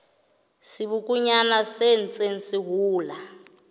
sebokonyana se ntseng se hola